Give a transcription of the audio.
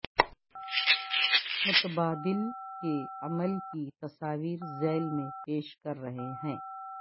متبادل کے عمل کی تصاویر ذیل میں پیش کر رہے ہیں